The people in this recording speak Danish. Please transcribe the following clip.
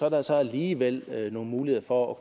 at der så alligevel er nogle muligheder for at